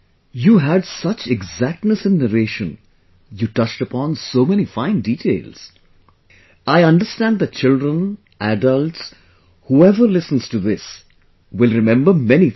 You had such exactness in narration, you touched upon so many fine details, I understand that children, adults whoever listens to this will remember many things